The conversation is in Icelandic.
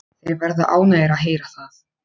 Þeir verða ánægðir að heyra það.